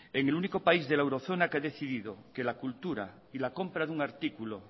en el único país de la eurozona que ha decidido que la cultura y la compra de un artículo